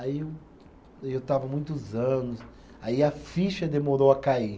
Aí eu, eu estava muitos anos, aí a ficha demorou a cair.